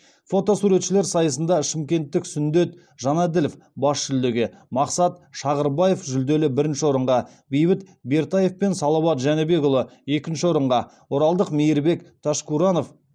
фотосуретшілер сайысында шымкенттік сүндет жанаділов бас жүлдеге мақсат шағырбаев жүлделі бірінші орынға бейбіт бертаев пен салауат жәнібекұлы екінші орынға оралдық мейірбек ташкуранов